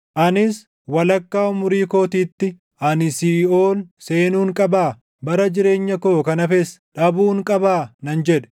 Anis, “Walakkaa umurii kootiitti, ani siiʼool seenuun qabaa? Bara jireenya koo kan hafes dhabuun qabaa?” nan jedhe.